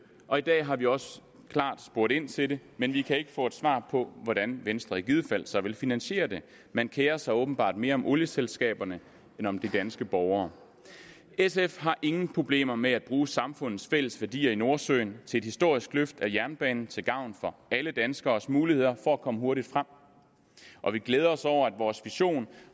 og i dag har vi også klart spurgt ind til det men vi kan ikke få et svar på hvordan venstre i givet fald så vil finansiere det man kerer sig åbenbart mere om olieselskaberne end om de danske borgere sf har ingen problemer med at bruge samfundets fælles værdier i nordsøen til et historisk løft af jernbanen til gavn for alle danskeres muligheder for at komme hurtigt frem og vi glæder os over at vores vision